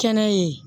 Kɛnɛ ye